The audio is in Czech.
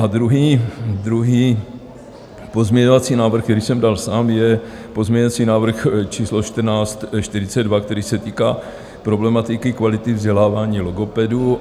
A druhý pozměňovací návrh, který jsem dal sám, je pozměňovací návrh číslo 1442, který se týká problematiky kvality vzdělávání logopedů.